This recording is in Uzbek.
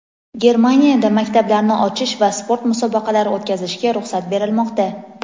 Germaniyada maktablarni ochish va sport musobaqalari o‘tkazishga ruxsat berilmoqda.